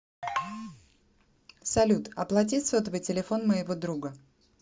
салют оплати сотовый телефон моего друга